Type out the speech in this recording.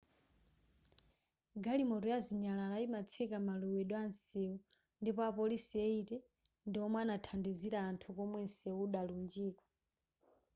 galimoto ya zinyalala yimatseka malowedwe atsewu ndipo apolisi 80 ndiwomwe anathandizira anthu komwe nseu udalunjika